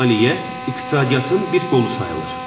Maliyyə iqtisadiyyatın bir qolu sayılır.